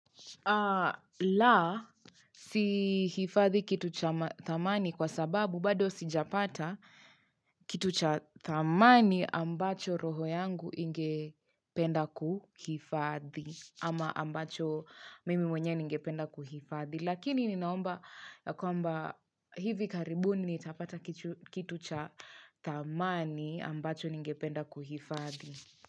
La sihifadhi kitu cha thamani kwa sababu bado sijapata kitu cha thamani ambacho roho yangu ingependa kuhifadhi ama ambacho mimi mwenyewe ningependa kuhifadhi Lakini ninaomba ya kwamba hivi karibuni nitapata kitu cha thamani ambacho ningependa kuhifadhi.